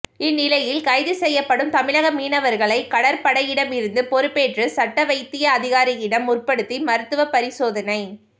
இந் நிலையில் கைது செய்யப்படும் தமிழக மீனவா்களை கடற்படையிடமிருந்து பொறுப்பேற்று சட்டவைத்திய அதிகாாியிடம் முற்படுத்தி மருத்துவ பாிசோதனை